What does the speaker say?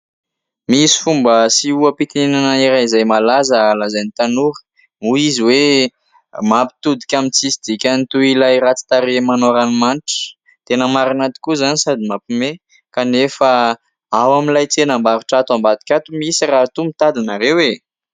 Misy fomba sy oham-pitenenana iray izay malaza lazain'i tanora hoy izy hoe: "mampitodika amin'ny tsy misy dikany toy ilay ratsy tarehy manao ranoamanitra". Tena marina tokoa izany sady mampiomehy, kanefa ao amin'ilay tsenam-barotra ato ambadika ato misy, raha toa mitady ianareo e!